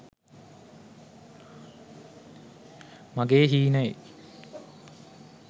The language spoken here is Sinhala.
mage heenaye